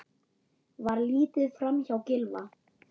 Var litið framhjá Gylfa?